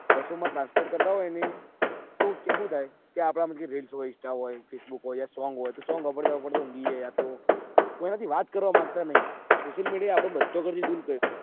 બસો માં transfer કરતા હોય ને તો શું થાય કે આપદા માં કે reels હોય insta હોય કે facebook હોય યા song હોય તો song સાંભળતા સંભળતા ઉન્ગીએ યાતો કોઈ ના થી વાત કરવા માંગતા નથી social media આપડે બધા કરતા દુર